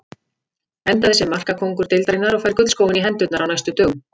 Endaði sem markakóngur deildarinnar og fær gullskóinn í hendurnar á næstu dögum.